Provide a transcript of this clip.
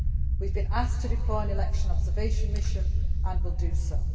We have been asked to deploy an election observation mission and will do so.